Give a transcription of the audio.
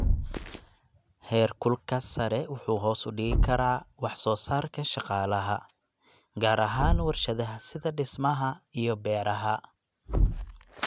Heerkulka sare wuxuu hoos u dhigi karaa wax soo saarka shaqaalaha, gaar ahaan warshadaha sida dhismaha iyo beeraha.